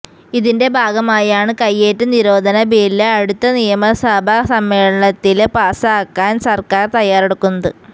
ഇതിന്റെ ഭാഗമായാണ് കയ്യേറ്റ നിരോധന ബില് അടുത്ത നിയമസഭ സമ്മേളനത്തില് പാസാക്കാന് സര്ക്കാര് തയ്യാറെടുക്കുന്നത്